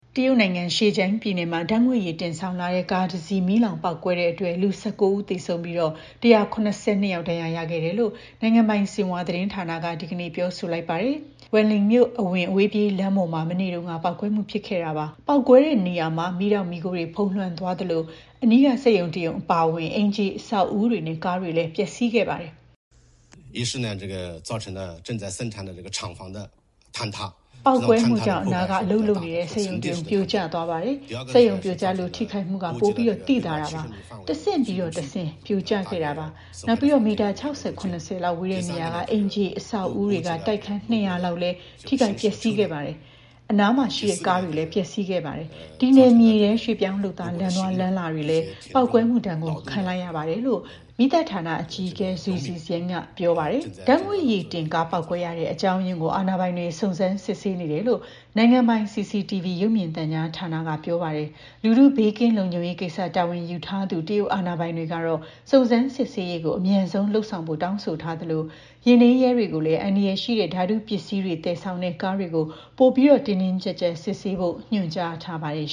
တရုတ်နိုင်ငံ Zhejiang ပြည်နယ်မှာ ဓာတ်ငွေ့ရည် တင်ဆောင်လာတဲ့ ကားတစီး မီးလောင်ပေါက်ကွဲလို့ လူ ၁၉ ဦး သေဆုံးပြီး ၁၇၂ ယောက် ဒဏ်ရာရရှိခဲ့တယ်လို့ နိုင်ငံပိုင် Xinhua သတင်းဌာနက ဒီကနေ့ပဲ ပြောဆိုလိုက်ပါတယ်။ Wenling မြို့အဝင် အဝေးပြေးလမ်းပေါ်မှာ မနေ့တုန်းက ပေါက်ကွဲမှု ဖြစ်ခဲ့တာပါ။ ပေါက်ကွဲတဲ့နေရာမှာ မီးတောက် မီးခိုးတွေ ဖုံးလွှမ်းသွားသလို အနီးက စက်ရုံတရုံ အပါအဝင် အိမ်ခြေအဆောက်အဦတွေနဲ့ ကားတွေလည်း ပျက်စီးခဲ့ပါတယ်။ “ပေါက်ကွဲမှုကြောင့် အနားက အလုပ်လုပ်နေတဲ့ စက်ရုံတရုံ ပြိုကျသွားပါတယ်။ စက်ရုံပြိုကျလို့ ထိခိုက်မှုက ပိုသိသာပါတယ်။ တဆင့်ပြီးတဆင့် ပြိုကျခဲ့တာပါ။ နောက်ပြီးတော့ မီတာ ၆၀-၇၀ လောက်ဝေးတဲ့ နေရာက အိမ်ခြေ အဆောက်အဦတွေက တိုက်ခန်း ၂၀၀ လောက်လည်း ထိခိုက်ပျက်စီးခဲ့ပါတယ်။ အနားက ကားတွေလည်း ပျက်စီးခဲ့ပါတယ်။ ဒီနယ်မြေထဲက ရွှေ့ပြောင်းလုပ်သား လမ်းသွားလမ်းလာတွေလည်း ပေါက်ကွဲမှုဒဏ် ခံလိုက်ရတယ်” လို့ မီးသတ်ဌာန အကြီးအကဲ Zhu Zhixiang က ပြောပါတယ်။ ဓာတ်ငွေ့ရည်တင်ကား ပေါက်ကွဲရတဲ့ အကြောင်းရင်းကို အာဏာပိုင်တွေ စုံစမ်း စစ်ဆေးနေတယ်လို့ နိုင်ငံပိုင် CCTV ရုပ်မြင်သံကြားဌာနက ပြောပါတယ်။ လူထု ဘေးကင်းလုံခြုံရေးကိစ္စ တာဝန်ယူထားသူ တရုတ်အာဏာပိုင်တွေကတော့ စုံစမ်းစစ်ဆေးရေး အမြန်ဆုံးလုပ်ဆောင်ဖို့ တောင်းဆိုထားသလို ယာဉ်ထိန်းရဲတွေကိုလည်း အန္တရာယ်ရှိတဲ့ ဓာတုပစ္စည်းတွေ သယ်ဆောင်တဲ့ ကားတွေကို ပိုပြီး တင်းတင်းကျပ်ကျပ် စစ်ဆေးဖို့ ညွှန်ကြားခဲ့ပါတယ်